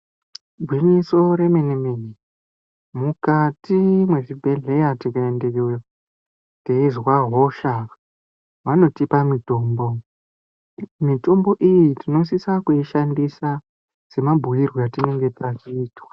Igwinyiso yemene-mene, mukati mwezvibhedhleya tikaendeyo teizwa hosha. Vanotipa mutombo, mitombo iyi tinosisa kuishandisa semabhuirwe atinange tazviitwa.